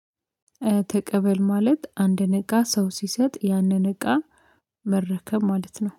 ተቀበል ማለት አንድን እቃ ሰው ሲሰጥ ያንን እቃ መረከብ ማለት ነው